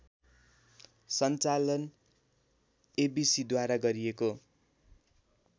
सञ्चालन एबिसिद्वारा गरिएको